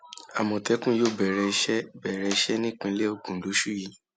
àmọtẹkùn yóò bẹrẹ iṣẹ bẹrẹ iṣẹ nípínlẹ ogun lóṣù yìí